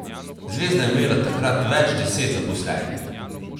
Zvezda je imela takrat več deset zaposlenih.